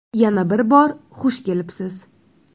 Yana bir bor xush kelibsiz.